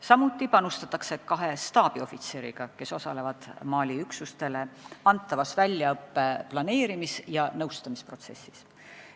Samuti panustatakse kahe staabiohvitseriga, kes osalevad Mali üksustele antava väljaõppe planeerimis- ja nõustamisprotsessis.